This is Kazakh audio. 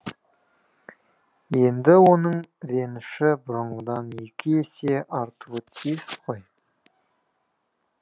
енді оның реніші бұрынғыдан екі есе артуы тиіс қой